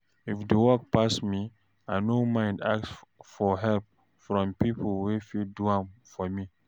if di work pass me I no mind ask for help from pipo wey fit do am for me